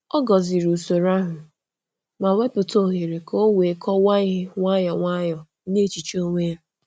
Ọ gọ̀zìrì usoro ahụ, ma wepụta ohere ka o wee kọwaa ihe nwayọ nwayọ n’echiche onwe ya.